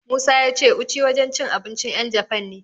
Musa ya ce Uchi wajen cin abincin 'yan Jafan ne.